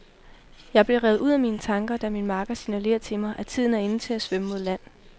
Jeg bliver revet ud af mine tanker, da min makker signalerer til mig, at tiden er inde til at svømme mod land.